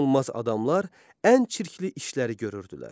Toxunulmaz adamlar ən çirkli işləri görürdülər.